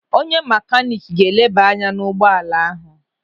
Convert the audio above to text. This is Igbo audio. Onye makanik ga-eleba anya n'ụgbọala ahu.